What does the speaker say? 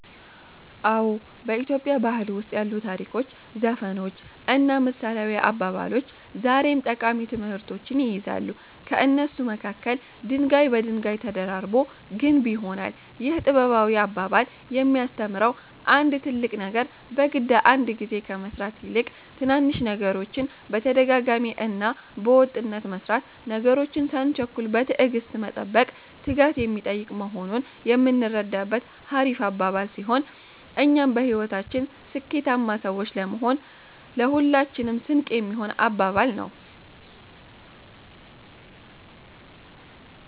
አዎ፣ በኢትዮጵያ ባህል ውስጥ ያሉ ታሪኮች፣ ዘፈኖች እና ምሳሌያዊ አባባሎች ዛሬም ጠቃሚ ትምህርቶችን ይይዛሉ። ከእነሱ መካከል፦" ድንጋይ በድንጋይ ተደራርቦ ግንብ ይሆናል"ይህ ጥበባዊ አባባል የሚያስተምረው አንድ ትልቅ ነገር በግድ አንድ ግዜ ከመስራት ይልቅ ትናንሽ ነገሮችን በተደጋጋሚ እና በወጥነት መስራት፣ ነገሮችን ሳንቸኩል በትዕግስት መጠበቅ፣ ትጋት የሚጠይቅ መሆኑን የምንረዳበት ሀሪፍ አባባል ሲሆን እኛም በህይወታችን ስኬታማ ሰዎች ለመሆን ለሁላችንም ስንቅ የሚሆን አባባል ነው።